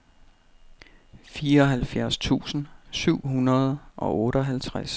fireoghalvfjerds tusind syv hundrede og otteoghalvtreds